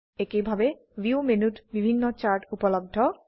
একেইভাবে ভিউ মেনুত বিভিন্ন চার্ট উপলব্ধ